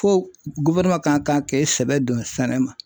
Fo ka kan k'i sɛbɛ don sɛnɛ ma.